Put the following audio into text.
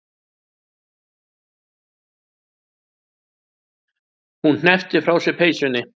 Hún hneppir frá sér peysunni.